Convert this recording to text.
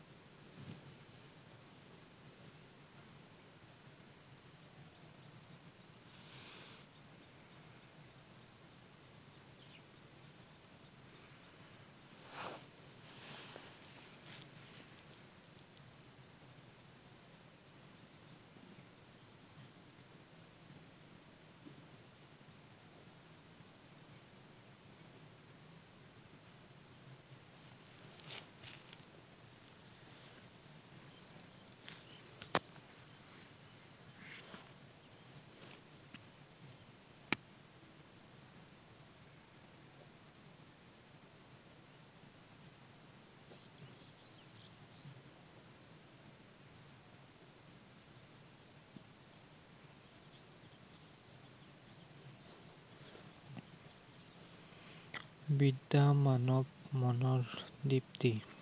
বিদ্য়া মানৱ মনৰ দিপ্তী।